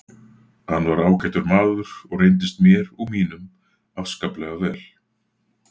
Hann var ágætur maður og reyndist mér og mínum afskaplega vel.